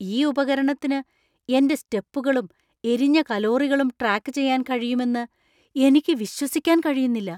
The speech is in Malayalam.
ഈ ഉപകരണത്തിന് എന്‍റെ സ്റ്റെപ്പുകളും എരിഞ്ഞ കലോറികളും ട്രാക്ക് ചെയ്യാൻ കഴിയുമെന്ന് എനിക്ക് വിശ്വസിക്കാൻ കഴിയുന്നില്ല.